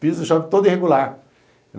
Pisa e sobe todo irregular.